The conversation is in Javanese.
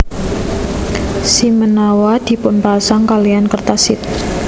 Shimenawa dipunpasang kalihan kertas shide